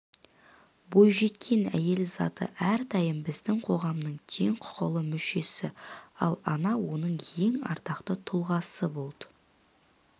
бойжеткен әйел заты әрдайым біздің қоғамның теңқұқылы мүшесі ал ана оның ең ардақты тұлғасы болды